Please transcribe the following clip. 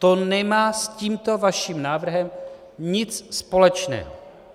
To nemá s tímto vaším návrhem nic společného.